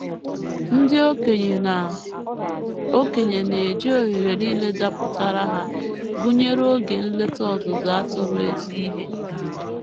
Ndị okenye na - okenye na - eji ohere nile dapụtaara ha, gụnyere oge nleta ọzụzụ atụrụ, ezi ihe.